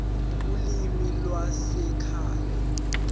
ulimi lwasekhaya p